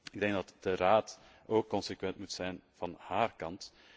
Ik denk dat de Raad ook consequent moet zijn van zijn kant.